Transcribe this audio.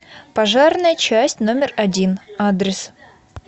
пожарная часть номер один адрес